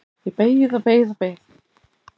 Ég beið og beið og beið!